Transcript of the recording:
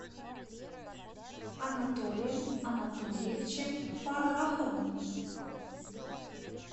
анатолием анатольевичем фарраховым